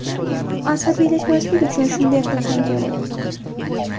Asabiylashmaslik uchun shunday qilsam kerak.